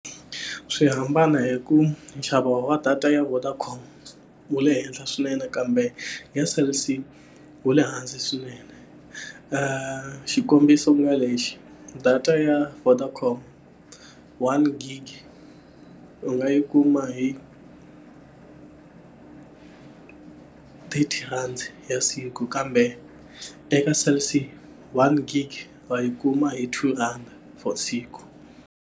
Swi hambana hi ku nxavo wa data ya Vodacom wu le henhla swinene kambe ya Cell C wu le hansi swinene. Xikombiso ku nga lexi data ya Vodacom one gig u nga yi kuma hi thirty rand ya siku, kambe eka Cell C one gig va yi kuma hi two rand for siku.